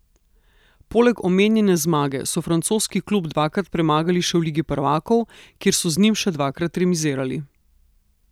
Poleg omenjene zmage so francoski klub dvakrat premagali še v Ligi prvakov, kjer so z njim še dvakrat remizirali.